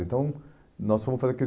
Então, nós fomos fazer aquilo.